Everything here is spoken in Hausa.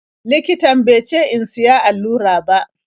Likitan be ce in siya allura ba.